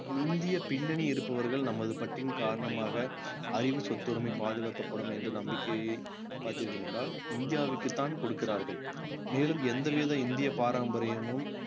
இந்திய பின்னணி இருப்பவர்கள் நமது பற்றின் காரணமாக அறிவு சொத்துரிமை பாதுகாக்கப்படும் என்ற நம்பிக்கைய பார்த்தீர்கள் என்றால் இந்தியாவிற்குத்தான் கொடுக்கிறார்கள் மேலும் எந்தவித இந்திய பாரம்பரியமும்